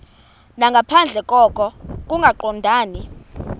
nangaphandle koko kungaqondani